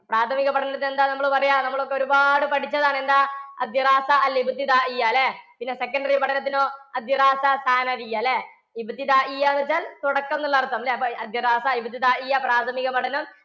പ്രാഥമിക പഠനത്തിന് എന്താ നമ്മൾ പറയുക? നമ്മൾ ഒരുപാട് പഠിച്ചതാണ് എന്താ അല്ലേ. പിന്നെ secondary പഠനത്തിനോ? അല്ലേ വെച്ചാൽ തുടക്കം എന്നുള്ള അർത്ഥം പ്രാഥമിക പഠനം,